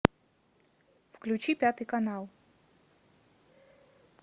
включи пятый канал